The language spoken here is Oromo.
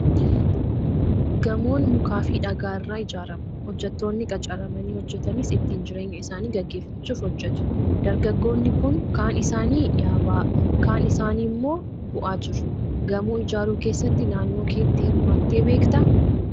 Gamoon mukaa fi dhagaa irraa ijaarama. Hojjettoonni qacaramanii hojjetanis, ittiin jireenya isaanii gaggeeffachuuf hojjetu. Dargaggoonni kun kaan isaanii yaabaa, kaan isaanii immoo bu'aa jiru. Gamoo ijaaruu keessatti naannoo keetti hirmaattee beektaa?